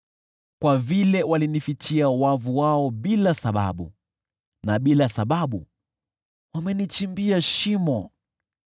Kwa vile walinifichia wavu wao bila sababu, na bila sababu wamenichimbia shimo,